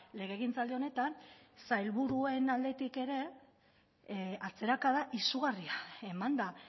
legegintzaldi honetan sailburuen aldetik ere atzerakada izugarria eman da